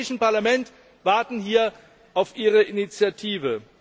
Wir im Europäischen Parlament warten hier auf Ihre Initiative.